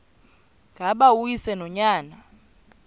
ngaba uyise nonyana